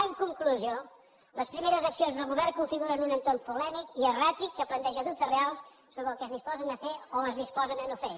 en conclusió les primeres accions del govern configuren un entorn polèmic i erràtic que planteja dubtes reals sobre el que es disposen a fer o es disposen a no fer